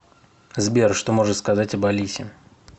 сбер что можешь сказать об алисе